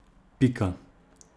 Pika.